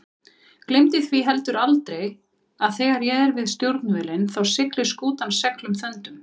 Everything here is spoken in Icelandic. Gleymdu því heldur aldrei að þegar ég er við stjórnvölinn þá siglir skútan seglum þöndum.